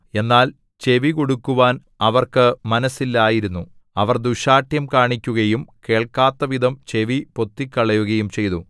എന്നാൽ ചെവികൊടുക്കുവാൻ അവർക്ക് മനസ്സില്ലായിരുന്നു അവർ ദുശ്ശാഠ്യം കാണിക്കുകയും കേൾക്കാത്തവിധം ചെവി പൊത്തിക്കളയുകയും ചെയ്തു